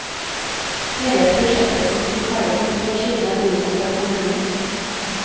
Hele prosjektet som sto ferdig for to år siden er godkjent av kommunen.